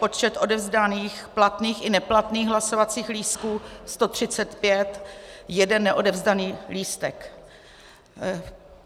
Počet odevzdaných platných i neplatných hlasovacích lístků 135, jeden neodevzdaný lístek.